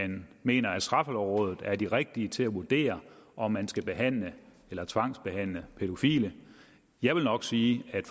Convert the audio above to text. den mener at straffelovrådet er de rigtige til at vurdere om man skal behandle eller tvangsbehandle pædofile jeg vil nok sige at